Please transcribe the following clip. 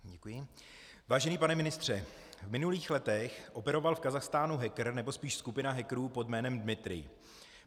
Vážený pane ministře, v minulých letech operoval v Kazachstánu hacker, nebo spíš skupina hackerů pod jménem Dmitrij.